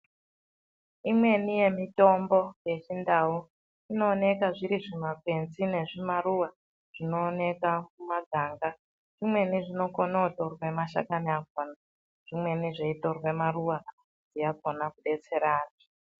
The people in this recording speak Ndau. Imweni yemitombo yechindau, inooneka zviri zvimakwenzi nezvimaruwa zvinooneka mumaganga. Zvimweni zvinokone kutorwe mashakani, zvimweni zveitorwe maruwa akhona kudetsera vantu.